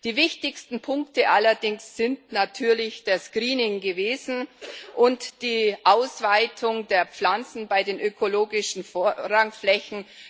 Die wichtigsten Punkte allerdings sind natürlich das Greening gewesen und die Ausweitung der Pflanzen bei den ökologischen Vorrangflächen.